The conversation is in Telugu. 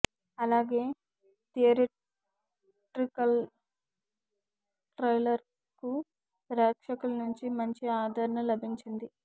అలాగే థియేట్రికల్ ట్రైలర్కు ప్రేక్షకుల నుంచి మంచి ఆదరణ లభించింది